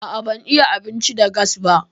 A'a ban iya abinci da gas ba.